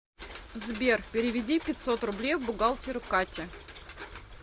сбер переведи пятьсот рублей бухгалтеру кате